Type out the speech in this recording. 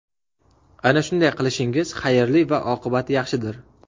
Ana shunday qilishingiz xayrli va oqibati yaxshidir.